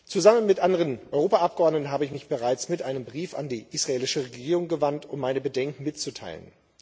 Zusammen mit anderen Europaabgeordneten habe ich mich bereits mit einem Brief an die israelische Regierung gewandt, um meine Bedenken mitzuteilen.